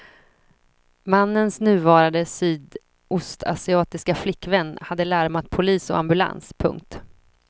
Mannens nuvarande sydostasiatiska flickvän hade larmat polis och ambulans. punkt